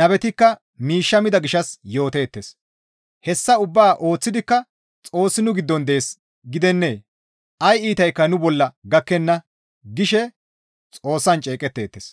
Nabetikka miishshe mida gishshas yooteettes. Hessa ubbaa ooththidikka, «Xoossi nu giddon dees gidennee? Ay iitaykka nu bolla gakkenna» gishe Xoossan ceeqeteettes.